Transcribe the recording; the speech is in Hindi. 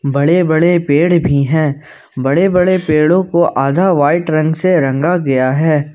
बड़े बड़े पेड़ भी हैं बड़े बड़े पेड़ों को आधा व्हाइट रंग से रंगा गया है।